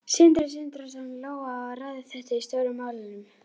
Sindri Sindrason: Lóa, á að ræða þetta í Stóru málunum?